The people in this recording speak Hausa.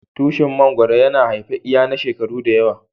Tushin mangoro yana haife iyaiya na shekaru da yawa.